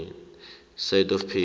side of page